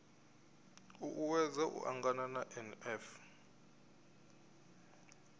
u uuwedza u angana na nf